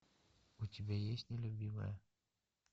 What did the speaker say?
у тебя есть нелюбимая